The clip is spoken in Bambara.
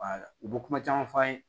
u bɛ kuma caman f'an ye